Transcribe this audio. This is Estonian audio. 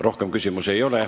Rohkem küsimusi ei ole.